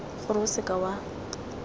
gore o seka w a